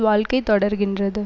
வாழ்க்கை தொடர்கின்றது